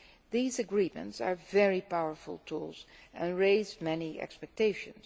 These agreements are very powerful tools and raise many expectations.